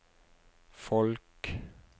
folk